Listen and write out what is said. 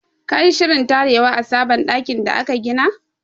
Ka yi shirin tarewa a sabon ɗakin da aka gina!